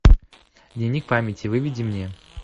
дневник памяти выведи мне